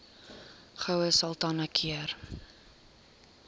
goue sultana keur